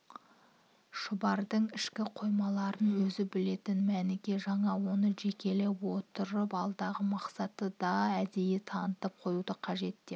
шұбардың ішкі қоймаларын өзі білетін мәніке жаңа оны жекелеп отырып алдағы мақсатты да әдейі танытып қоюды қажет деп